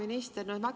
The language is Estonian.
Hea minister!